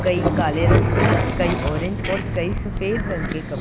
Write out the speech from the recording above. कई काले रंग के कई ऑरेंज और कई सफेद रंग के कप --